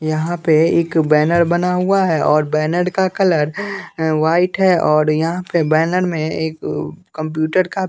यहाँ पे एक बैनर बना हुआ है और बैनर का कलर वाइट है और यहाँ पे बैनर में एक कंप्यूटर का --